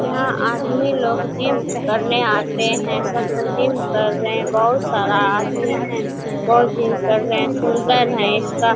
यहाँ आदमी लोग जिम करने आते हैं सब ज़िम कर रहे है बहुत सारा आदमी है बहुत जिम करें रहे सुन्दर है इसका --